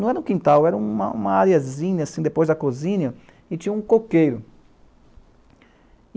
Não era um quintal, era uma áreazinha, depois da cozinha, e tinha um coqueiro.